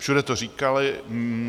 Všude to říkali.